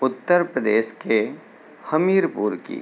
उत्तर प्रदेश के हमीरपुर की --